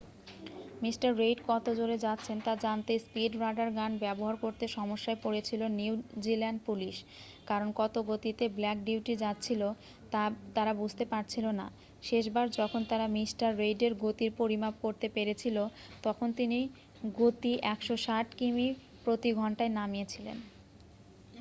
mister Reid কত জোরে যাচ্ছেন তা জানতে স্পীড রাডার গান ব্যবহার করতে সমস্যায় পড়েছিল নিউ জিল্যান্ড পুলিশ কারণ কত গতিতে ব্ল্যাক বিউটি যাচ্ছিল তা তারা বুঝতে পারছিল না শেষবার যখন তারা মিস্টার রেইডের গতির পরিমাপ করতে পেরেছিল তখন তিনি গতি 160 কিমি প্রতি ঘন্টায় নামিয়েছিলেন